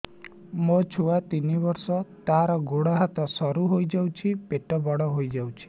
ମୋ ଛୁଆ ତିନି ବର୍ଷ ତାର ଗୋଡ ହାତ ସରୁ ହୋଇଯାଉଛି ପେଟ ବଡ ହୋଇ ଯାଉଛି